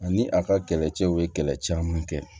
Ani a ka kɛlɛcɛw bɛ kɛlɛ caman kɛ